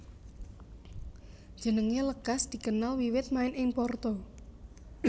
Jenengé lekas dikenal wiwit main ing Porto